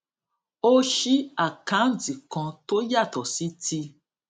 ó ṣí àkáǹtì kan tó yàtò sí ti